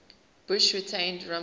bush retained rumsfeld